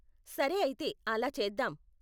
సరే అయితే అలా చేద్దాం.